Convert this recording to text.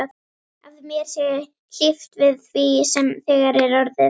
Að mér sé hlíft við því sem þegar er orðið.